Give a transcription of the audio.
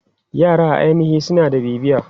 Yara a ainihi suna da bibiya.